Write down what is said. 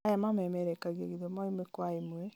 aya mamerekagia gĩthomo ĩmwe kwa ĩmwe